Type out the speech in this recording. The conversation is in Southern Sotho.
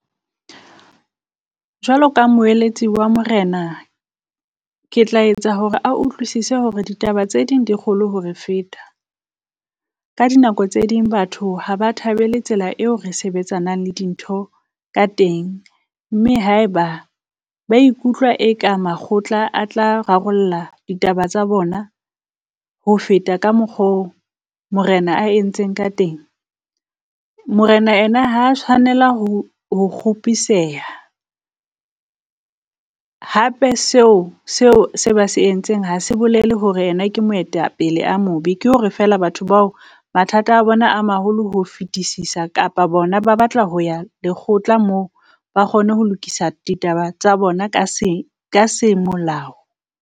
Jwalo ka moeletsi wa Morena, ke tla etsa hore a utlwisise hore ditaba tse ding di kgolo hore feta. Ka dinako tse ding batho ha ba thabele tsela eo re sebetsanang le dintho ka teng, mme haeba ba ikutlwa e ka makgotla a tla rarolla ditaba tsa bona ho feta ka mokgo Morena a entseng ka teng. Morena ena ha tshwanela ho ho kgopiseha, hape seo seo se ba se entseng hase bolele hore yena ke moetapele a mobe. Ke hore fela batho bao mathata a bona a maholo ho fetisisa, kapa bona ba batla ho ya lekgotla mo ba kgone ho lokisa ditaba tsa bona ka se ka se molao.